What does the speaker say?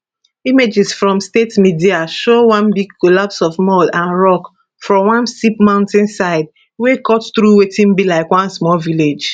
images from state media show one big collapse of mud and rock from one steep mountainside wey cut through wetin be like one small village